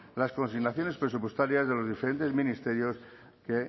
las consignaciones presupuestarias en los diferentes ministerios que